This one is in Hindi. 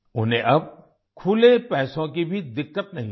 उन्हें अब खुले पैसों की भी दिक्कत नहीं होती